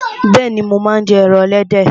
Bẹ́ẹ̀ni, mo máa ń jẹ ẹran ẹlẹ́dẹ̀